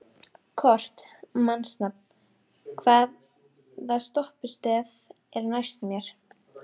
Kort (mannsnafn), hvaða stoppistöð er næst mér?